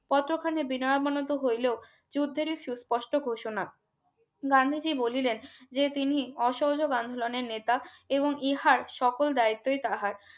কতখানিক বিনয় মনটা হইল যুদ্ধেরি সু কষ্ট ঘোষণা গান্ধীজি বলিলেন যে তিনি অসহযোগ আন্দোলনের নেতা এবং ইহার সকল দায়িত্বই তাহার